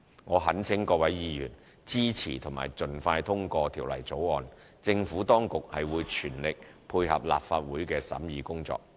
我懇請各位議員支持及盡快通過《條例草案》，政府當局會全力配合立法會的審議工作。